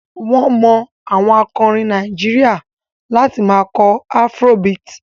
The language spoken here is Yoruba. Wọ́n mọ àwọn akọrin Nàìjíríà láti máa kọ afrobeat.